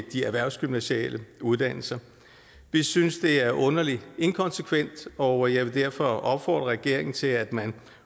de erhvervsgymnasiale uddannelser vi synes det er underlig inkonsekvent og jeg vil derfor opfordre regeringen til at man